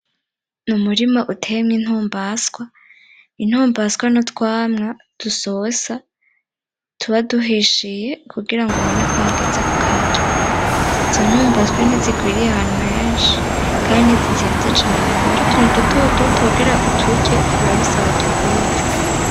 N'umurima uteyemwo intombaswa, intombaswa n'utwamwa dusosa tuba duhishiye kugira ngo ubone ko hageze kukarya. Izo ntombaswa ntizigwiriye ahantu henshi kandi ntizizimvye cane, aba ari utuntu dutoduto tugira uturye biba bisaba utugwize.